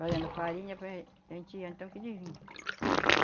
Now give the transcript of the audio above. Fazendo farinha, para a gen, a gente ia então que dizia.